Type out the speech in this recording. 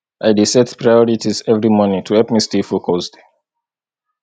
i dey set priorities every morning to help me stay focused